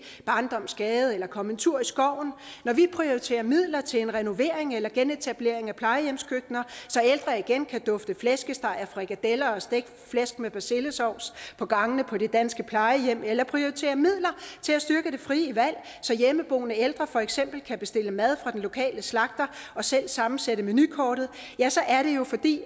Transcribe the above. barndommens gade eller komme en tur i skoven når vi prioriterer midler til renovering eller genetablering af plejehjemskøkkener så ældre igen kan dufte flæskesteg og frikadeller og stegt flæsk med persillesovs på gangene på de danske plejehjem eller prioriterer midler til at styrke det frie valg så hjemmeboende ældre for eksempel kan bestille mad fra den lokale slagter og selv sammensætte menukortet ja så er det jo fordi